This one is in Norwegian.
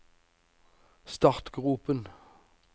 startgropen